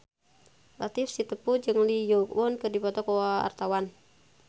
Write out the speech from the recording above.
Latief Sitepu jeung Lee Yo Won keur dipoto ku wartawan